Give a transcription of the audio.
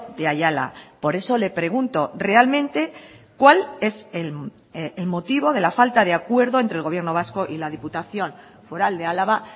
de ayala por eso le pregunto realmente cuál es el motivo de la falta de acuerdo entre el gobierno vasco y la diputación foral de álava